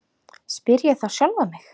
spyr ég þá sjálfan mig.